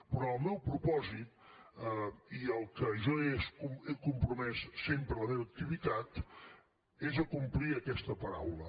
però el meu propòsit i al que jo he compromès sempre la meva activitat és acomplir aquesta paraula